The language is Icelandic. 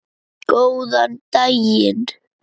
Góðan daginn